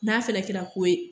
N'a fɛnɛ kɛra ko ye.